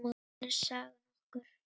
Það sýnir sagan okkur.